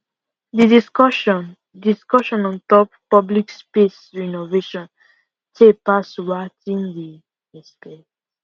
the discussion discussion ontop public space renovation tay pass watin we expect